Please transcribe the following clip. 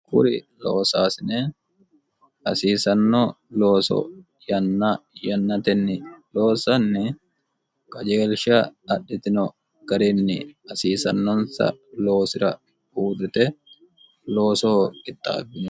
okuri loosoasine asiisanno looso yanna yannatenni loosanni qajeelsha adhitino garinni asiisannonsa loosira uurrite loosoho itxaafino